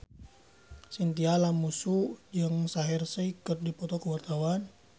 Chintya Lamusu jeung Shaheer Sheikh keur dipoto ku wartawan